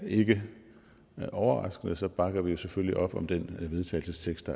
ikke overraskende bakker vi selvfølgelig op om den vedtagelsestekst